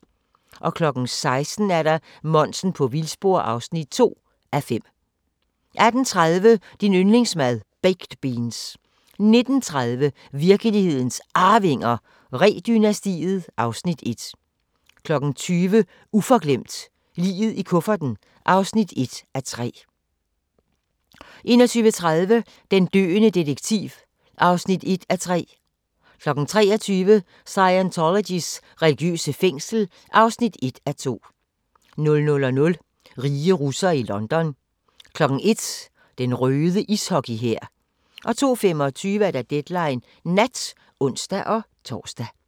16:00: Monsen på vildspor (2:5) 18:30: Din yndlingsmad: Baked beans 19:30: Virkelighedens Arvinger: Ree-dynastiet (Afs. 1) 20:00: Uforglemt: Liget i kufferten (1:3) 21:30: Den døende detektiv (1:3) 23:00: Scientologys religiøse fængsel (1:2) 00:00: Rige russere i London 01:00: Den røde ishockey-hær 02:25: Deadline Nat (ons-tor)